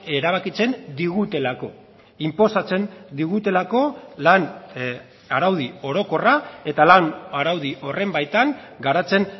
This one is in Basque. erabakitzen digutelako inposatzen digutelako lan araudi orokorra eta lan araudi horren baitan garatzen